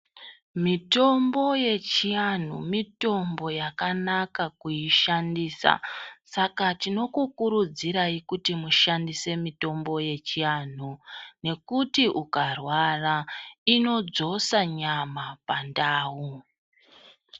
Mitombo yechianhu mitombo yakanaka kuishandisa, saka tinokukurudzirai kuti mushandise mitombo yechianhu nekuti ukarwara inodzosa nyama pandau.